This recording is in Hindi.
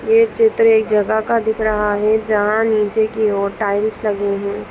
यह चित्र एक जगह का दिख रहा है जहा नीचे की ओर टाईल्स लागे हुए--